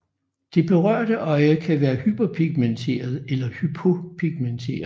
Det berørte øje kan være hyperpigmenteret eller hypopigmenteret